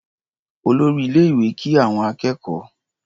Olórí ilé-ìwé kí àwọn akẹ́kọ̀ọ́.